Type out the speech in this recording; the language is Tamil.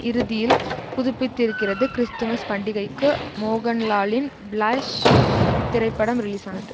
இறுதியில் புதுப்பித்திருக்கிறது கிறிஸ்துமஸ் பண்டிகைக்கு மோகன்லாலின் பிளாஷ் திரைப்படம் ரிலீஸானது